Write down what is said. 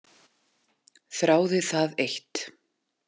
Þráði það eitt.